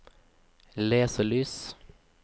leselys